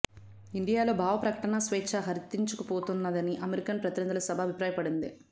ఇండియాలో భావ ప్రకటనా స్వేచ్ఛ హరించుకుపోతున్నదని అమెరికన్ ప్రతినిధుల సభ అభిప్రాయపడింది